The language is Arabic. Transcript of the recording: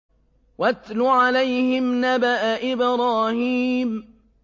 وَاتْلُ عَلَيْهِمْ نَبَأَ إِبْرَاهِيمَ